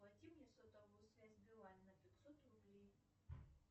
оплати мне сотовую связь билайн на пятьсот рублей